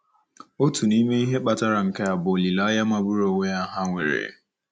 Otu n'ime ihe ndị kpatara nke a bụ olileanya magburu onwe ya ha nwere.